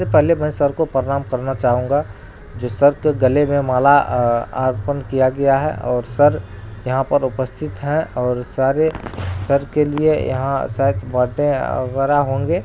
पहले मैं सबको प्रणाम करना चाहूँगा | जो सर के गले में माला अ आ अर्पण किया गया है और सर यहाँ पे उपस्थित है और सारे सर के लिए यहाँ शायद बर्थडे वगेरा होंगे।